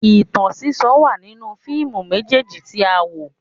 Ìtàn sísọ wà nínú fíìmù méjèèjì tí a wò